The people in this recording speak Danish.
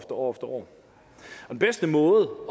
år og den bedste måde